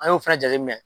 An y'o fɛnɛ jateminɛ